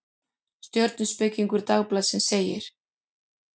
Stjörnuspekingur Dagblaðsins segir: